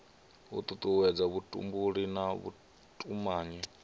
u tutuwedza vhutumbuli na vhutumanyi